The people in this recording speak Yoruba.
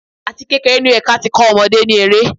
Àti kékeré ni ó yẹ kí á ti kó ọmọdé ní eré.